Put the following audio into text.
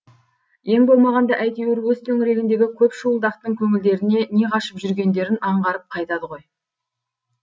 ең болмағанда әйтеуір өз төңірегіндегі көп шуылдақтың көңілдеріне не қашып жүргендерін аңғарып қайтады ғой